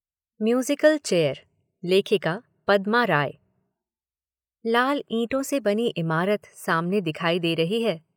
Musical chair. लेखिका पद्मा राय। लाल ईंटों से बनी इमारत सामने दिखाई दे रही है।